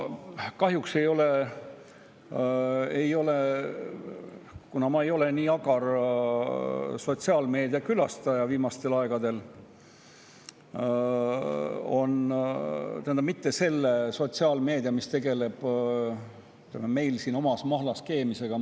Ma kahjuks ei ole olnud viimastel aegadel nii agar sotsiaalmeedia, selle sotsiaalmeedia, mis tegeleb meil siin omas mahlas keemisega.